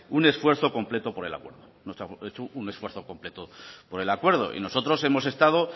un esfuerzo completo por el acuerdo no se ha hecho un esfuerzo completo por el acuerdo y nosotros hemos estado